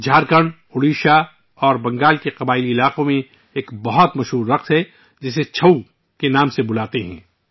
جھارکھنڈ، اڈیشہ اور بنگال کے قبائلی علاقوں میں ایک بہت مشہور رقص ہے ، جسے ' چھاؤ ' کہا جاتا ہے